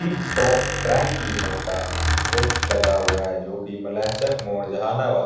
tip top dry cleaner का board लगा हुआ है जो की मालयाचक मोड़ जहानाबाद --